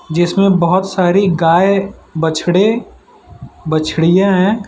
जिसमें बहोत सारी गाय बछड़े बछढियां हैं।